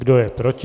Kdo je proti?